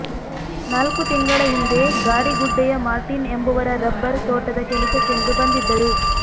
ನಾಲ್ಕು ತಿಂಗಳ ಹಿಂದೆ ಗಾಡಿಗುಡ್ಡೆಯ ಮಾರ್ಟಿನ್ ಎಂಬವರ ರಬ್ಬರ್ ತೋಟದ ಕೆಲಸಕ್ಕೆಂದು ಬಂದಿದ್ದರು